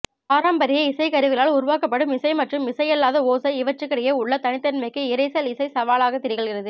பாரம்பரிய இசைக்கருவிகளால் உருவாக்கப்படும் இசை மற்றும் இசையல்லாத ஒசை இவற்றுக்கிடையே உள்ள தனித்தனிமைக்கு இரைசல் இசை சவாலாகத் திகழ்கிறது